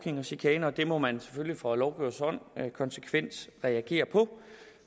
og chikane og det må man selvfølgelig fra lovgivers hånd konsekvent reagere på